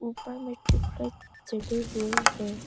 ऊपर में ट्यूबलाइट जले हुए हैं।